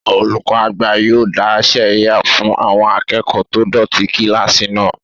Ṣé olùkọ́ àgbà yóò dá sẹ̀ríyà fún àwọn akẹ́kọ̀ọ́ tó dọ̀tí kílásì náà?